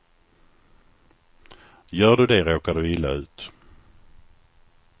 Gör du det råkar du illa ut.